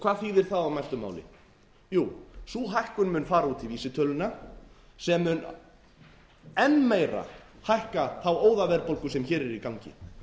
hvað þýðir það á mæltu máli jú sú hækkun mun fara út í vísitöluna sem mun enn meira hækka þá óðaverðbólgu sem hér er í gangi